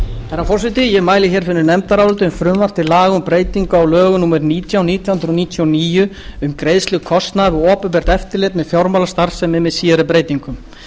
herra forseti ég mæli hér fyrir nefndaráliti um frumvarp til laga um breytingu á lögum númer nítján nítján hundruð níutíu og níu um greiðslu kostnaðar við opinbert eftirlit með fjármálastarfsemi með síðari breytingum